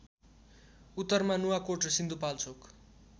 उत्तरमा नुवाकोट र सिन्धुपाल्चोक